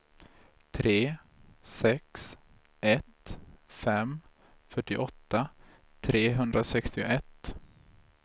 tre sex ett fem fyrtioåtta trehundrasextioett